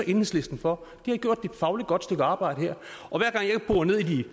enhedslisten for de har gjort et fagligt godt stykke arbejde her